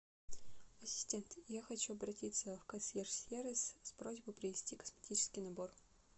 ассистент я хочу обратиться в консьерж сервис с просьбой принести косметический набор